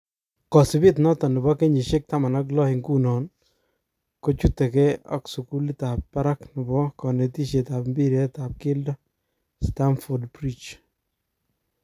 Kosibet noton nebo kenyishek 16-ingunon chutege ak sukulit tab barak nebo konetishet ab mbiret tab keldo , Stamford Bridge.